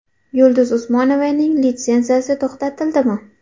Yulduz Usmonovaning litsenziyasi to‘xtatildimi?